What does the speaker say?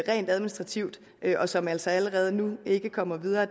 rent administrativt og som altså allerede nu ikke kommer videre